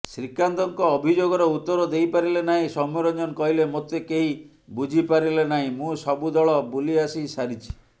ଶ୍ରୀକାନ୍ତଙ୍କ ଅଭିଯୋଗର ଉତ୍ତର ଦେଇପାରିଲେ ନାହିଁ ସୌମ୍ୟରଞ୍ଜନ କହିଲେ ମୋତେ କେହି ବୁଝିପାରିଲେନାହିଁ ମୁଁ ସବୁ ଦଳ ବୁଲିଆସି ସାରିଛି